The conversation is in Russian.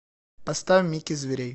поставь микки зверей